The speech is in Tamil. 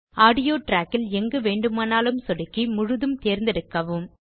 ஆடியோ ட்ராக்கில் எங்கு வேண்டுமானாலும் க்ளிக் செய்து முழுதும் தேர்ந்தெடுக்கவும்